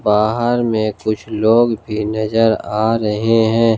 बाहर में कुछ लोग भी नजर आ रहे हैं।